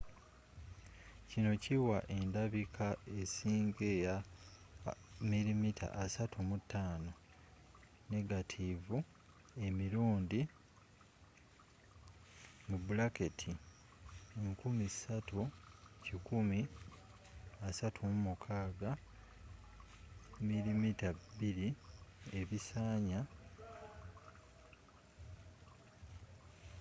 kino kiwa endabika esinga eya 35mm negative emirundi 3136 mm2 ebisanya 864